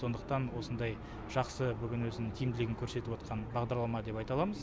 сондықтан осындай жақсы бүгін өзінің тиімділігін көрсетіп отқан бағдарлама деп айта аламыз